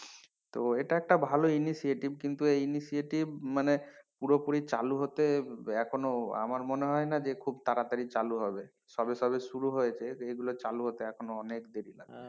তো এটা একটা ভালো initiative কিন্তু এই initiative মানে পুরোপুরি চালু হতে এখনো আমার মনে হয় না যে খুব তাড়াতাড়ি চালু হবে সবে সবে শুরু হয়েছে তো এগুলো চালু হতে এখনো অনেক দেরী লাগবে।